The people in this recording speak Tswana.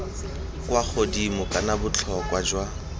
kwa godimo kana botlhokwa jwa